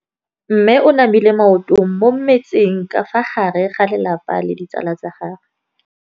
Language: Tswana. Mme o namile maoto mo mmetseng ka fa gare ga lelapa le ditsala tsa gagwe.